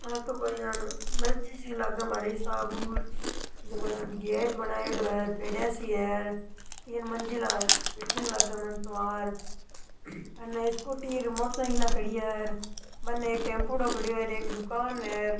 और तो कोई यान मस्जिद सी लागे मारे हिसाब हु जको ऐन गेट बनायेडो है पेडिया सी है तीन मंजिला बिल्डिंग लागे मने तो अने स्कूटी और मोटर साइकिला खड़ी है और बनने एक टेम्पोडो खड्यो है हेर एक दुकान है।